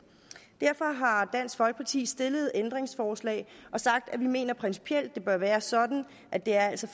dansk folkeparti stillet ændringsforslag for vi mener principielt at det bør være sådan at det altså